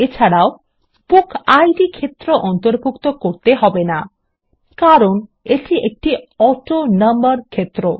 এছাড়াও বুকিড ক্ষেত্র অন্তর্ভুক্ত করতে হবে না কারণ এটি একটি অটোনাম্বার ক্ষেত্র